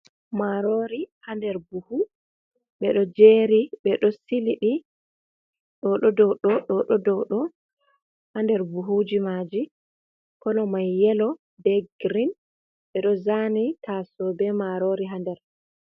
Marori ha nder buhu ɓeɗo jeri ɓeɗo silii ɗi, ɗo ɗo dow ɗo, ɗo ɗo dow ɗo, hader buhuji maji kolo mai yelo be girin, ɓeɗo zani taso be marori ha nder.